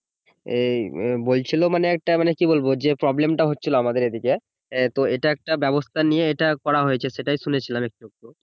এই এ বলছিল যে একটা মানে কি বলবো যে problem টা হচ্ছিল আমাদের এইদিকে এ তো একটা ব্যবস্থা নিয়ে এটা করা হয়েছে সেটা শুনেছিলাম একটু একটু